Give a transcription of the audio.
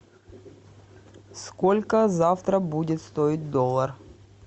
сколько завтра будет стоить доллар